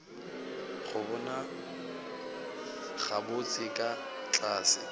go bona gabotse ka tlase